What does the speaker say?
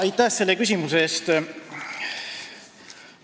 Aitäh selle küsimuse eest!